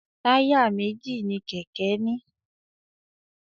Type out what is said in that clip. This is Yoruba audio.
Táyà méjì ní kéké ní.